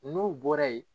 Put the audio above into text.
N'u bɔra yen